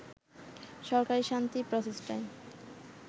সরকারি শান্তি প্রচেষ্টায়